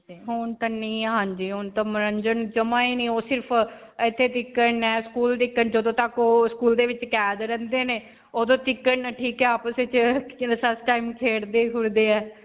ਹੁਣ ਤੇ ਨਹੀਂ ਹੈ. ਹਾਂਜੀ . ਹੁਣ ਤਾਂ ਮਨੋਰੰਜਨ ਨਹੀਂ ਓਹ ਜਦੋਂ ਤੱਕ ਓਹ school ਦੇ ਵਿੱਚ ਕੈਦ ਰਹਿੰਦੇ ਨੇ. ਓਦੋਂ ਤੱਕ ਨੇ ਠੀਕ ਨੇ ਆਪਸ 'ਚ ਖੇਡਦੇ-ਖੂਡਦੇ ਹੈ.